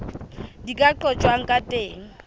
di ka qojwang ka teng